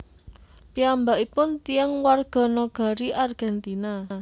Piyambakipun tiyang warganagari Argentina